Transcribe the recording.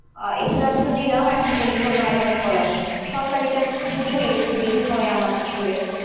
Exams তো দিলাম এখন পর্যন্ত viva র call আসেনি, সরকারী চাকরি তোবু ঝোই একটু দেরি হয় আমার আসলে।